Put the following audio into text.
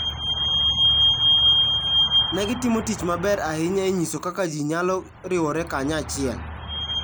Ne gitimo tich maber ahinya e nyiso kaka ji nyalo riwore kanyachiel.